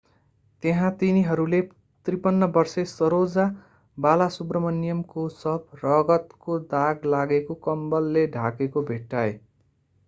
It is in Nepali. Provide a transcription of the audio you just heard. त्यहाँ तिनीहरूले 53 वर्षे saroja balasubramanian को शव रगतको दाग लागेको कम्बलले ढाकिएको भेट्टाए